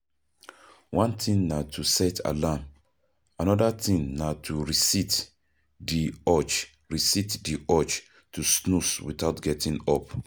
One thing na to set alarm, anoda thing na to resist di urge resist di urge to snooze without getting up